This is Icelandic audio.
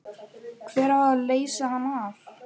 Hver á að leysa hann af?